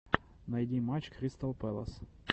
найти матч кристалл пэлас